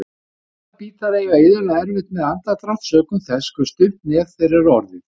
Bolabítar eiga iðulega erfitt með andardrátt sökum þess hve stutt nef þeirra er orðið.